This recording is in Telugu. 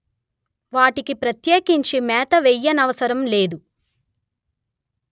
వాటికి ప్రత్యేకించి మేత వేయనవసరం లేదు